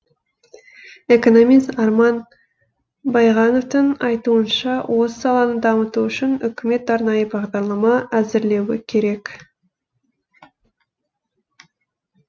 экономист арман байғановтың айтуынша осы саланы дамыту үшін үкімет арнайы бағдарлама әзірлеуі керек